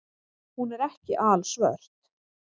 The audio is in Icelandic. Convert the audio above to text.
Hún er ekki alsvört.